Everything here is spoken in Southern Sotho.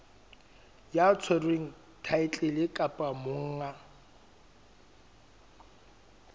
ya tshwereng thaetlele kapa monga